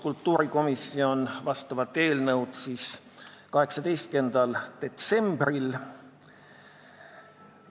Kultuurikomisjon arutas seda eelnõu 18. detsembril.